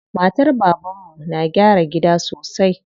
Matar baban mu na gyara gida sosai.